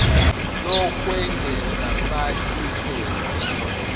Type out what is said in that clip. lokwengeza fal iphepha